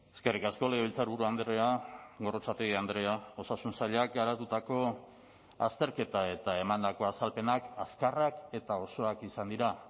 eskerrik asko legebiltzarburu andrea gorrotxategi andrea osasun sailak garatutako azterketa eta emandako azalpenak azkarrak eta osoak izan dira